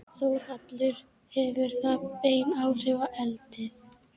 Þórhallur: Hefur það bein áhrif á eldið?